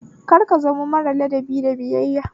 Kar ka zamo mara ladabi da biyayya